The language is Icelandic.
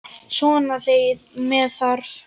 Svona þegar með þarf.